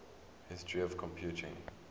history of computing